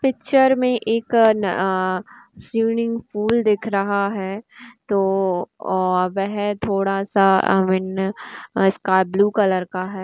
Picture मे एक ना स्विमिंग पूल दिख रहा है तो अ वह थोड़ा सा बीन स्काई ब्लू कलर का है।